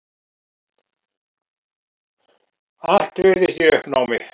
Allt virðist í uppnámi.